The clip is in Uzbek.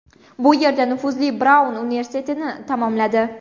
Bu yerda u nufuzli Braun universitetitini tamomladi.